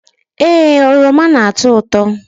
Ee, oroma na-atọ ụtọ